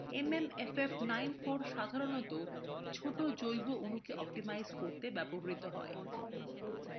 mmff94 সাধারণত ছোট জৈব অণুকে optimize করতে ব্যবহৃত হয়